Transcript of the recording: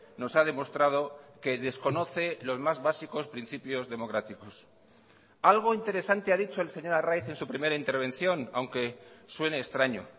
nos ha demostrado que desconoce los más básicos principios democráticos algo interesante ha dicho el señor arraiz en su primera intervención aunque suene extraño